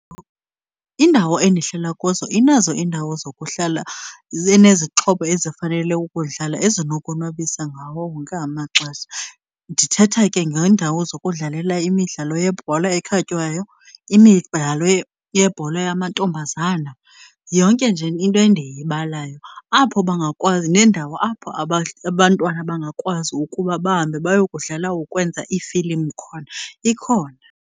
Indawo endihlala kuzo inazo iindawo zokuhlala enezixhobo ezifanele ukudlala ezinokonwabisa ngawo wonke amaxesha. Ndithetha ke ngeendawo zokudlalela imidlalo yebhola ekhatywayo, imidlalo yebhola yamantombazana, yonke nje into endiyibalayo apho bangakwazi, neendawo apho abantwana bangakwazi ukuba bahambe bayokudlala ukwenza iifilimu khona ikhona.